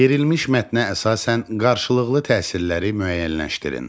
Verilmiş mətnə əsasən qarşılıqlı təsirləri müəyyənləşdirin.